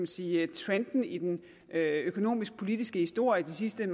sige trenden i den økonomisk politiske historie de sidste